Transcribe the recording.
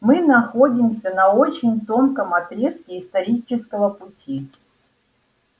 мы находимся на очень тонком отрезке исторического пути